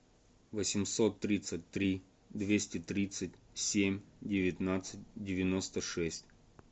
восемьсот тридцать три двести тридцать семь девятнадцать девяносто шесть